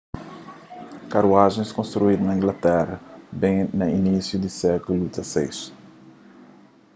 karuajens konstruídu na inglatera ben na inisiu di sékulu xvi